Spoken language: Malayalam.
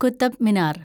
കുതബ് മിനാർ